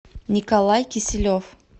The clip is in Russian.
николай киселев